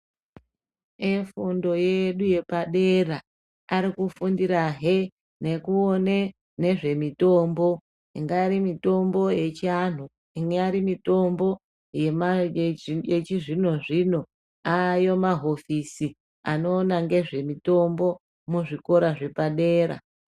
Efundo yedu yepadera ari kufundirahe nekuone nezvemitombo ingari mitombo yechiantu ingari mitombo yema yechi yechizvino zvino aayo mahofisi anoona ngezve mitombo muzvikora zvepadera.